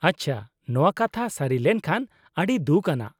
ᱟᱪᱪᱷᱟ, ᱱᱚᱶᱟ ᱠᱟᱛᱷᱟ ᱥᱟᱹᱨᱤ ᱞᱮᱱᱠᱷᱟᱱ ᱟᱹᱰᱤ ᱫᱩᱠᱷ ᱟᱱᱟᱜ ᱾